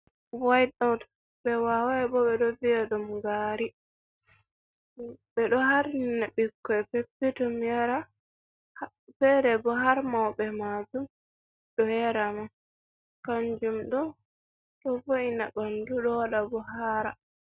Wait ot, ɓe wawai bo ɓe ɗo vi’a dum gari. Ɓe ɗo harnina bikkoi peppetom yara. Fere bo har maube maajum, ɗo yara ma. Kanjum ɗo, ɗo vo’ina ɓandu, ɗo waɗa bo haara.